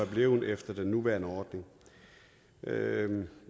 blevet efter den nuværende ordning